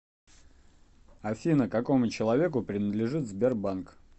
афина какому человеку принадлежит сбербанк